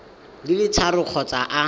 di le tharo kgotsa a